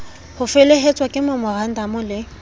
ho felehetswa ke memorandamo le